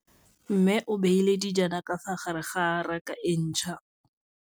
Mmê o beile dijana ka fa gare ga raka e ntšha.